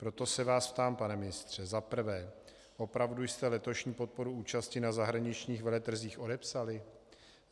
Proto se vás ptám, pane ministře za prvé: Opravdu jste letošní podporu účasti na zahraničních veletrzích odepsali?